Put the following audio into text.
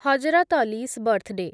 Hazrat Ali's birthday